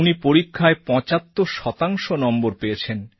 উনি পরীক্ষায় ৭৫ শতাংশ নম্বর পেয়েছেন